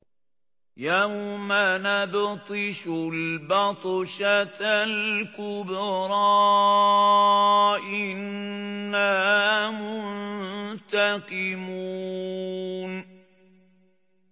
يَوْمَ نَبْطِشُ الْبَطْشَةَ الْكُبْرَىٰ إِنَّا مُنتَقِمُونَ